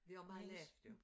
Det også meget lavt jo